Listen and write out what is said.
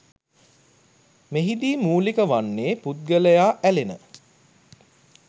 මෙහිදී මූලික වන්නේ පුද්ගලයා ඇලෙන